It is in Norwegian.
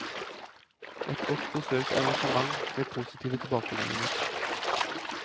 Et godt besøkt arrangement med positive tilbakemeldinger.